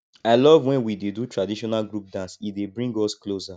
i love when we dey do traditional group dance e dey bring us closer